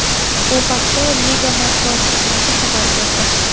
Bu haqda liga matbuot xizmati xabar berdi .